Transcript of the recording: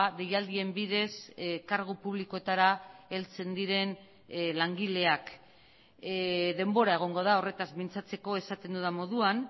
deialdien bidez kargu publikoetara heltzen diren langileak denbora egongo da horretaz mintzatzeko esaten dudan moduan